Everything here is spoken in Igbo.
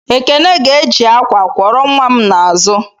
Ekene ga-eji akwa kwọrọ nwa m n'azụ.